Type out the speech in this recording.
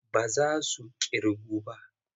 Ba za su ƙirgu ba.